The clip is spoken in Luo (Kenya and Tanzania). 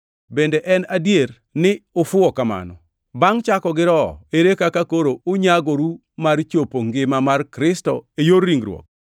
Bende en adier ni ufuwo kamano? Bangʼ chako gi Roho, ere kaka koro unyagoru mar chopo ngima mar Kristo e yor ringruok?